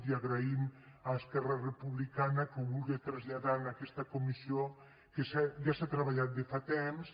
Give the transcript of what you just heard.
i agraïm a esquerra republicana que ho vulga traslladar a aquesta comissió que ja s’ha treballat de fa temps